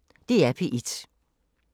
DR P1